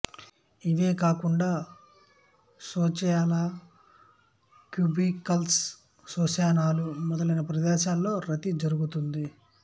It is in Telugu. ఇవే కాకుండా శోచాలయాలు క్యూబికల్స్ శ్మశానాలు మొదన ప్రదేశాలలో రతి జరుగుతుంది